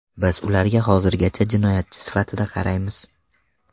Biz ularga hozirgacha jinoyatchi sifatida qaraymiz.